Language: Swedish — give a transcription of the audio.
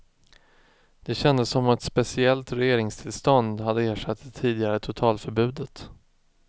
Det kändes som om ett speciellt regeringstillstånd hade ersatt det tidigare totalförbudet.